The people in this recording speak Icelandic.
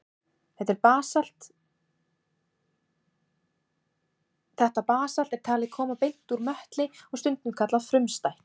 Þetta basalt er talið koma beint úr möttli og stundum kallað frumstætt.